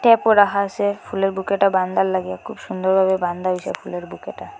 এরপর রাহা আসে ফুলের বুকেটা বান্দান লাগে খুব সুন্দর ভাবে বান্দা হইসে ফুলের বুকেটা।